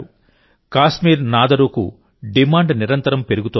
కాశ్మీర్ నాదరూకు డిమాండ్ నిరంతరం పెరుగుతోంది